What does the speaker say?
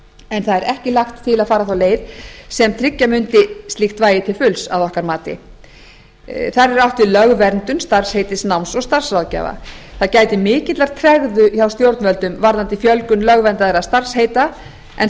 en það er ekki lagt til að fara þá leið sem tryggja mundi slíkt vægi til fulls að okkar mati þar er átt við lögverndun starfsheitis náms og starfsráðgjafa það gætir mikillar tregðu hjá stjórnvöldum varðandi fjölgun lögverndaðra starfsheita en